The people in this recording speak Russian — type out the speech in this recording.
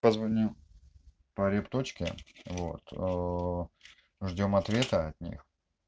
позвонил по репточке вот ждём ответа от них